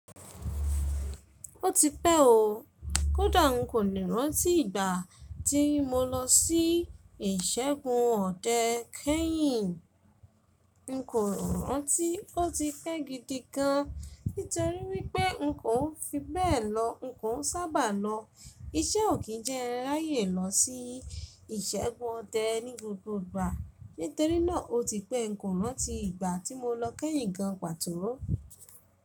Ó ti pẹ́ o. Kódà n kò le rántí ìgbà tí mo lọ sí ìṣẹ́gun ọdẹ kẹ́yìn. N kò rántí ó ti pẹ́ gidi gan, nítorí wípé n kò fi bẹ́ẹ̀ lọ, n kò sábà lọ. Iṣẹ́ ò kí jẹ́ n ráyè lọ sí ìṣẹ́gun ọdẹ ní gbogbo ìgbà. Nítorínà ó ti pẹ́ n kò rántí ìgbà tí mo lọ kẹ́yìn gan pàtó ó.